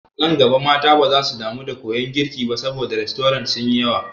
Nan gaba mata baza su damu da koyan girki ba saboda rastorant sun yi yawa.